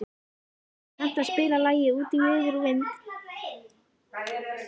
Rúnhildur, kanntu að spila lagið „Út í veður og vind“?